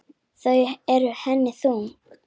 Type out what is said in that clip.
Þau eru henni þung.